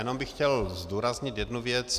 Jenom bych chtěl zdůraznit jednu věc.